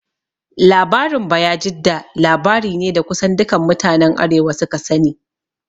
Labarin Bayajidda labari ne da kusan dukan mutanen arewa su ka sani